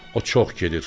O çox gedir.